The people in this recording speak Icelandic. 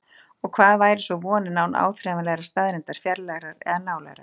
Og hvað væri svo vonin án áþreifanlegrar staðreyndar, fjarlægrar eða nálægrar?